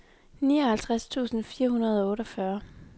nioghalvtreds tusind fire hundrede og otteogfyrre